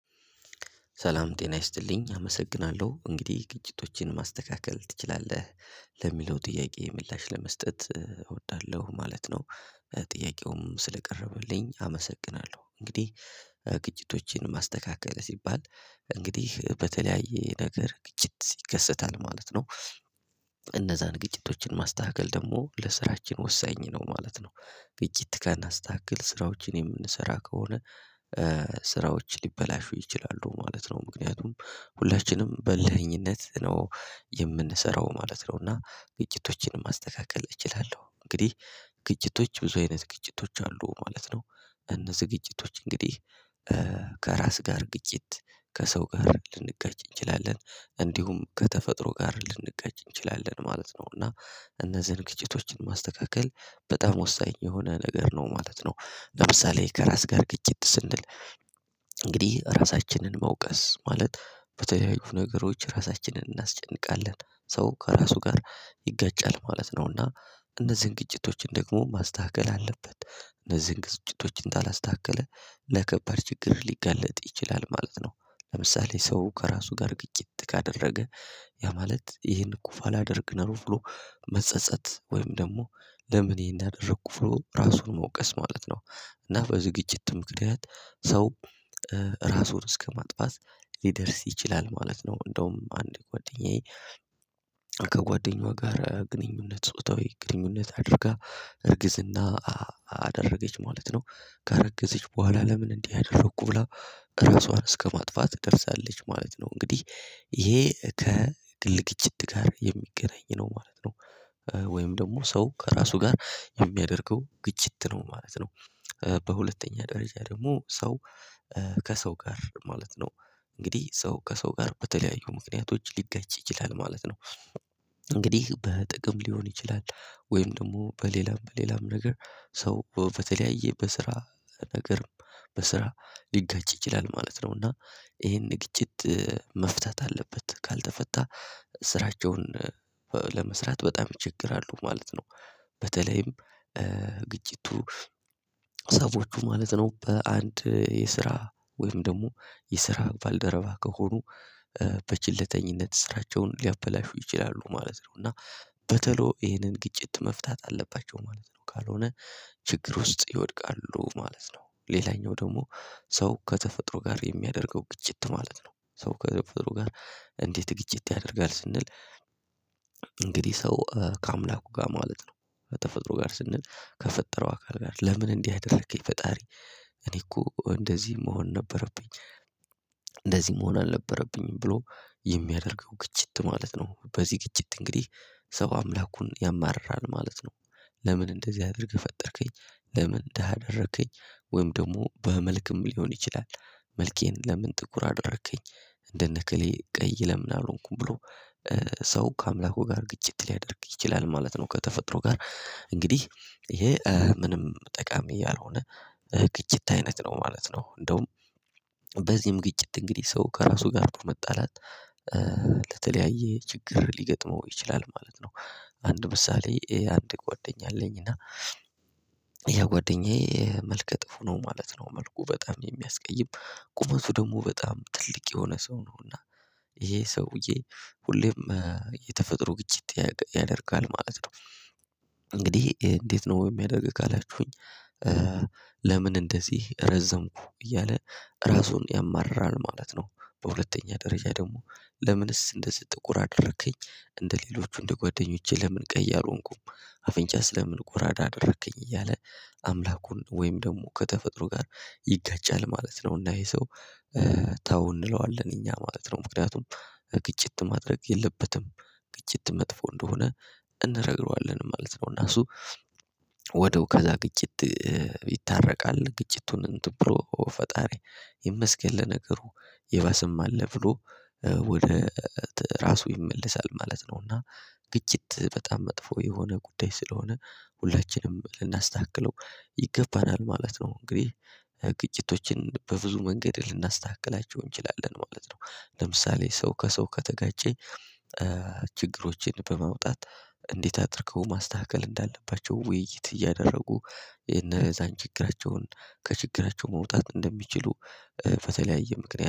ሰላም ጤና ይስጥልኝ አመሰግናለሁ እንግዲህ ግጭቶችን ማስተካከል ትችላለህ ለሚለው ጥያቄ ምላሽ ለመስጠት እወዳለሁ ማለት ነው። ጥያቄውም ስለቀረበልኝ አመሰግናለሁ እንግዲህ ግጭቶችን ማስተካከል ሲባል እንግዲህ በተለያየ ነገር ግጭት ይከሰታል ማለት ነው። እነዛን ግጭቶችን ማስተካከል ደግሞ ለስራችን ወሳኝ ነው ማለት ነው። ግጭት ካናስተካክል ስራዎችን የምንሰራ ከሆነ። ስራዎች ሊበላሹ ይችላሉ ማለት ነው ምክንያቱም ሁላችንም በልህነት ነው የምንሰራው ማለት ነው እና ግጭቶችን ማስተካከል እችላለሁ እንግዲህ። ግጭቶች ብዙ አይነት ግጭቶች አሉ ማለት ነው። እነዚህ ግጭቶች እንግዲህ ከራስ ጋር ግጭት ከሰው ጋር ልንጋጭ እንችላለን እንዲሁም ከተፈጥሮ ጋር ልንጋጭ እንችላለን ማለት ነው እና እነዚህ አይነት ግጭቶችን ማስተካከል በጣም ወሳኝ የሆነ ነገር ነው ማለት ነው። ለምሳሌ ከራስ ጋር ግጭት ስንል እንግዲህ ራሳችንን መውቀስ ማለት በተለያዩ ነገሮች ራሳችንን እናስጨንቃለን ሰው ከራሱ ጋር ይጋጫል ማለት ነውና እነዚህን ግጭቶችን ደግሞ ማስተካከል አለበት እነዚህን ግጭቶችን ካላስተካከለ ለከባድ ችግር ሊገለጥ ይችላል ማለት ነው። ለምሳሌ ሰው ከራሱ ጋር ግጭት ካደረገ ያ ማለት ይህን ኩፍ አላደርግ ነው ብሎ መጸጸት ወይም ደግሞ ለምን ይህን ያደረገ ኩፍ ብሎ ራሱን መውቀስ ማለት ነው? እና በዝግጅት ምክንያት ሰው ራሱን እስከማጥፋት ሊደርስ ይችላል ማለት ነው። እንደውም አንድ ጓደኛዬ ከጓደኛዋ ጋር ግንኙነት ጾታዊ ግንኙነት አድርጋ እርግዝና አደረገች ማለት ነው። ካረገዘች በኋላ ለምን እንዲህ አደረኩ ብላ ራሷን እስከማጥፋት ደርሳለች ማለት ነው። እንግዲህ ይሄ ከግል ግጭት ጋር የሚገናኝ ነው ማለት ነው። ወይም ደግሞ ሰው ከራሱ ጋር የሚያደርገው ግጭት ነው ማለት ነው። በሁለተኛ ደረጃ ደግሞ ሰው ከሰው ጋር ማለት ነው እንግዲህ ሰው ከሰው ጋር በተለያዩ ምክንያቶች ሊጋጭ ይችላል ማለት ነው። እንግዲህ በጥቅም ሊሆን ይችላል ወይም ደግሞ በሌላም በሌላም ነገር ሰው በተለያየ በስራ ነገርም በስራ ሊጋጭ ይችላል ማለት ነው እና ይሄን ግጭት መፍታት አለበት ካልተፈታ ስራቸውን ለመስራት በጣም ይቸገራሉ ማለት ነው። በተለይም ግጭቱ ሰዎቹ ማለት ነው በአንድ የስራ ወይም ደግሞ የስራ ባልደረባ ከሆኑ በቸልተኝነት ስራቸውን ሊያበላሹ ይችላሉ ማለት ነው እና በተሎ ይሄንን ግጭት መፍታት አለባቸው ማለት ነው ካልሆነ ችግር ውስጥ ይወድቃሉ ማለት ነው። ሌላኛው ደግሞ ሰው ከተፈጥሮ ጋር የሚያደርገው ግጭት ማለት ነው ሰው ከተፈጥሮ ጋር እንዴት ግጭት ያደርጋል ስንል? እንግዲህ ሰው ከአምላኩ ጋር ማለት ነው ከተፈጥሮ ጋር ስንል ከፈጠረው አካል ጋር ለምን እንዲህ አደረከኝ ፈጣሪ እኔ እኮ እንደዚህ መሆን ነበረብኝ። እንደዚህ መሆን አልነበረብኝም ብሎ የሚያደርገው ግጭት ማለት ነው በዚህ ግጭት እንግዲህ ሰባ አምላኩን ያማርራል ማለት ነው ለምን እንደዚህ አድርገህ ፈጠርከኝ ለምን ደሃ አደረከኝ ወይም ደግሞ በመልክም ሊሆን ይችላል መልኬን ለምን ጥቁር አደረከኝ እንደነ ከሌ ቀይ ለምን አልሆንኩም ብሎ ሰው ከአምላኩ ጋር ግጭት ሊያደርግ ይችላል ማለት ነው። ከተፈጥሮ ጋር እንግዲህ ይሄ ምንም ጠቃሚ ያልሆነ ግጭት አይነት ነው ማለት ነው። እንደውም በዚህም ግጭት እንግዲህ ሰው ከራሱ ጋር መጣላት ለተለያየ ችግር ሊገጥመው ይችላል ማለት ነው። አንዱ ምሳሌ አንድ ጓደኛ አለኝና ያ ጓደኛዬ መልከ ጥፉ ነው ማለት ነው መልኩ በጣም የሚያስቀይም ቁመቱ ደግሞ በጣም ትልቅ የሆነ ሰው ነውና ይሄ ሰውዬ ሁሌም የተፈጥሮ ግጭት ያደርጋል ማለት ነው። እንግዲህ እንዴት ነው የሚያደርግ ካላችሁኝ? ለምን እንደዚህ ረዘምኩ እያለ ራሱን ያማርራል ማለት ነው። በሁለተኛ ደረጃ ደግሞ ለምንስ እንደዚህ ጥቁር አደረከኝ እንደሌሎቹ እንደጓደኞቼ ለምን ቀይ አልሆንኩም አፍንጫ ስለምን ጎራዳ አደረከኝ እያለ አምላኩን ወይም ደግሞ ከተፈጥሮ ጋር ይጋጫል ማለት ነው። እና ይሄ ሰው ተው እንለዋለን እኛ ማለት ነው ምክንያቱም ግጭት ማድረግ የለበትም ግጭት መጥፎ እንደሆነ እንነግረዋለን ማለት ነው። እና እሱ ወዳው ከዛ ግጭት ይታረቃል ግጭቱን እንትን ብሎ ፈጣሪ ይመስገል ነገሩ የባሰም አለ ብሎ ወደ ራሱ ይመለሳል ማለት ነውና ግጭት በጣም መጥፎ የሆነ ጉዳይ ስለሆነ ሁላችንም ልናስተካክለው ይገባናል ማለት ነው። እንግዲህ ግጭቶችን በብዙ መንገድ ልናስተካክላቸው እንችላለን ማለት ነው ለምሳሌ ሰው ከሰው ከተጋጨ ችግሮችን በመውጣት እንዴት አድርገው ማስተካከል እንዳለባቸው ውይይት እያደረጉ የነዛን ችግራቸውን ከችግራቸው መውጣት እንደሚችሉ ፈተለያየ ምክንያት